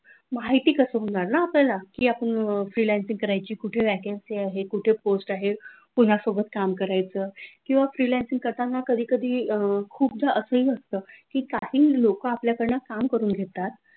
माहिती कसं होणार ना आपल्याला की आपण freelancing करायचे कुठे vacancy आहे कुठे post आहे कोणा सोबत काम करायचं किंवा freelancing करताना कधी कधी अह खूपदा असंही असतं की काही लोक आपल्याकडून काम करून घेतात.